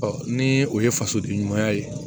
ni o ye fasoden ɲumanya ye